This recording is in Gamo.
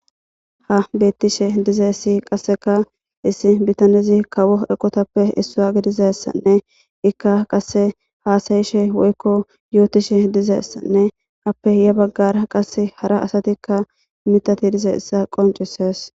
ha beettishe dizeessi qasseka issi bitanezi kawo eqotappe issaa gidizessanne ikka qasse haasayishe woykko yootishe dizeessanne appe hiya baggara qase hara asatikka mitati dizeessa qoncisees